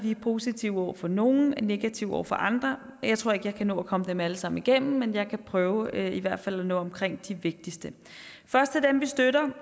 vi er positive over for nogle og negative over for andre jeg tror ikke jeg kan nå at komme dem alle sammen igennem men jeg kan prøve i hvert fald at nå omkring de vigtigste først til dem vi støtter